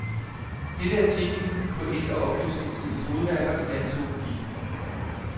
Dette er titlen på et af oplysningstidens hovedværker i dansk zoologi.